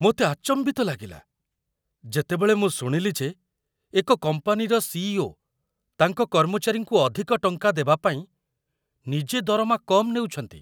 ମୋତେ ଆଚମ୍ବିତ ଲାଗିଲା, ଯେତେବେଳେ ମୁଁ ଶୁଣିଲି ଯେ ଏକ କମ୍ପାନୀର ସି.ଇ.ଓ. ତାଙ୍କ କର୍ମଚାରୀଙ୍କୁ ଅଧିକ ଟଙ୍କା ଦେବା ପାଇଁ ନିଜେ ଦରମା କମ୍ ନେଉଛନ୍ତି।